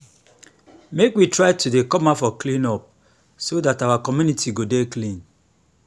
make we try to dey come out for clean up so dat our community go dey clean